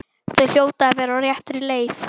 Þau hljóta að vera á réttri leið.